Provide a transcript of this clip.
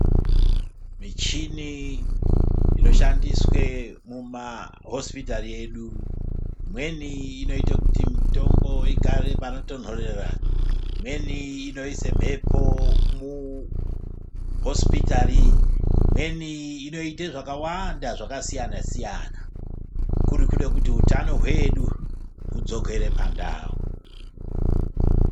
Muchini inoshandiswe mumahosipitari edu imweni inoite kuti mitombo igare panotonhorera, imweni inoite mhepo muhosioitari, imweni Inoite zvakawanda zvakasiyana siyana kurikude kuti hutano hwedu hudzokere pandau.